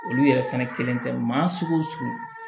Olu yɛrɛ fɛnɛ kelen tɛ maa sugu